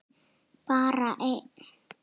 Bara einn.